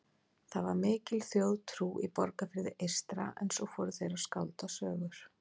Það var mikil þjóðtrú í Borgarfirði eystra en svo fóru þeir að skálda sögur.